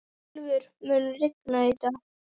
Ylfur, mun rigna í dag?